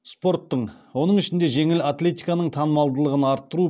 спорттың оның ішінде жеңіл атлетиканың танымалдылығын арттыру